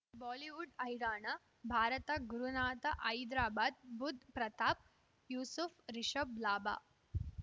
Bollywood Haryana Bharat Gurunath Hyderabad Budh Pratap Yusuf Rishabh ಲಾಭ